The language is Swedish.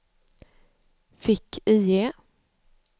fick-IE